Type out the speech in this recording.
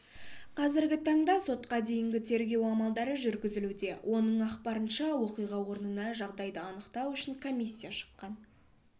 қазіргі таңда сотқа дейінгі тергеу амалдары жүргізілуде оның ақпарынша оқиға орнына жағдайы анықтау үшін комиссия шыққан